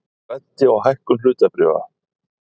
Græddi á hækkun hlutabréfa